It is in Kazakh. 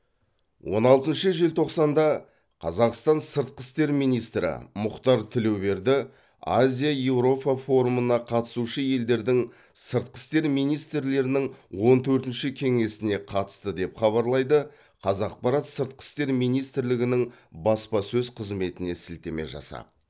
он алтыншы желтоқсанда қазақстан сыртқы істер министрі мұхтар тілеуберді азия еуропа форумына қатысушы елдердің сыртқы істер министрлерінің он төртінші кеңесіне қатысты деп хабарлайды қазақпарат сыртқы істер министрлігінің баспасөз қызметіне сілтеме жасап